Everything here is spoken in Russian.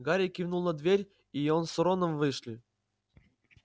гарри кивнул на дверь и они с роном вышли